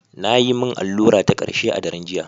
Na yi min allura ta karshe a daren jiya.